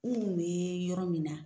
N kun bɛ yɔrɔ min na.